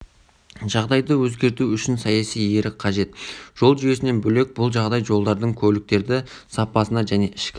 жағдайды өзгерту үшін саяси ерік қажет жол жүйесінен бөлек бұл жағдай жолдардың көліктердің сапасына және ішкі